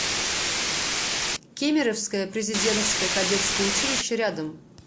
кемеровское президентское кадетское училище рядом